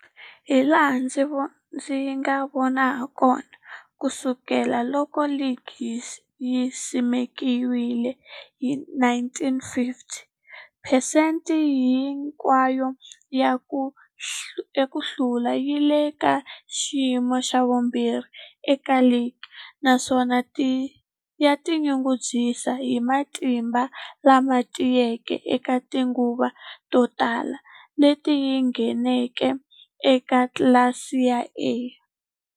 Hilaha ndzi nga vona hakona, ku sukela loko ligi yi simekiwile, 1950, phesente hinkwayo ya ku hlula yi le ka xiyimo xa vumbirhi eka ligi, naswona yi tinyungubyisa hi matimba lama tiyeke eka tinguva to tala leti yi ngheneke eka tlilasi ya A.